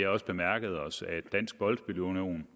også bemærket os at dansk boldspil union